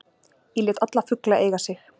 Ég lét alla fugla eiga sig